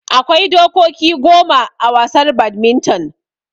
Akwai dokoki goma a wasar badminton